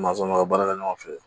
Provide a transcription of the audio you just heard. Mansɔnkɔrɔ baara kɛ ɲɔgɔn fɛ